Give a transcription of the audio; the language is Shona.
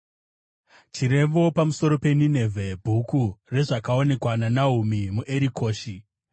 Chirevo pamusoro peNinevhe. Bhuku rezvakaonekwa naNahumi muErikoshi.